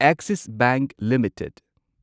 axis bank limited